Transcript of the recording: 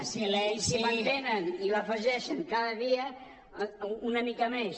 i s’hi mantenen i l’afegeixen cada dia una mica més